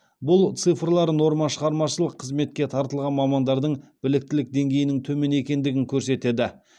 бұл цифрлар нормашығармашылық қызметке тартылған мамандардың біліктілік деңгейінің төмен екендігін көрсетеді